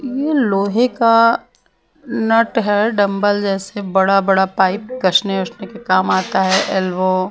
ये लोहे का नट है डंबल जैसे बड़ा बड़ा पाइप कशने उशने के काम आता है एल्वो --